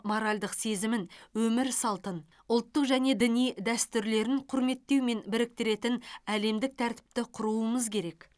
моральдық сезімін өмір салтын ұлттық және діни дәстүрлерін құрметтеумен біріктіретін әлемдік тәртіпті құруымыз керек